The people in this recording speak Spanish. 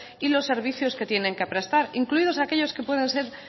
y los servicios que tienen que prestar incluidos aquellos que puedan ser